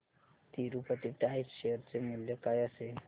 Tirupati tyres share चे मूल्य काय असेल